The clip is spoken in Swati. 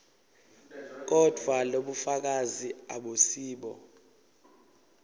kodvwa lobufakazi abusibo